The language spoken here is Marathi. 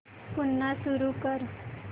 पुन्हा सुरू कर